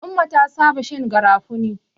Umma ta saba shan garafuni.